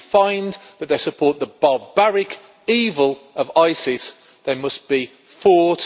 If you find that they support the barbaric evil of ISIS, they must be fought